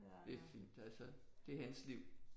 Det er fint altså det er hans liv